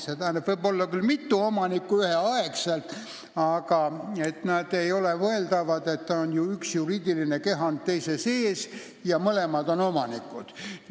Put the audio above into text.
See tähendab, et asjal võib olla küll mitu omanikku ühel ajal, aga ei ole mõeldav, et üks juriidiline kehand on teise sees ja mõlemad on omanikud.